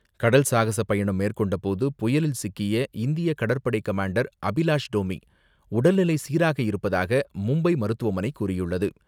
கடல் சாகச பயணம் மேற்கொண்டபோது புயலில் சிக்கிய இந்திய கடற்படை கமாண்டர் அபிலாஷ் டோமி உடல்நிலை சீராக இருப்பதாக மும்பை மருத்துவமனை கூறியுள்ளது.